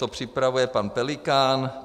To připravuje pan Pelikán.